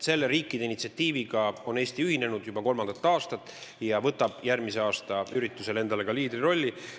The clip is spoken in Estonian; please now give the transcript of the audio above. Selle riikide initsiatiiviga ühines Eesti juba kolm aastat tagasi ja võtab järgmise aasta üritusel endale ka liidrirolli.